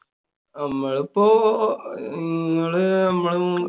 നമ്മളുപ്പോ~ ങ്ങള്~ മ്മള്